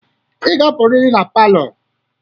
Ị ga-apụrịrị na palọ a.